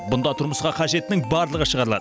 мұнда тұрмысқа қажеттінің барлығы шығарылады